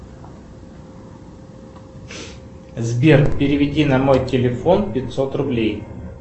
сбер переведи на мой телефон пятьсот рублей